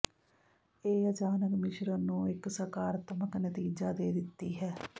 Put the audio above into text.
ਇਹ ਅਚਾਨਕ ਮਿਸ਼ਰਣ ਨੂੰ ਇਕ ਸਕਾਰਾਤਮਕ ਨਤੀਜਾ ਦੇ ਦਿੱਤੀ ਹੈ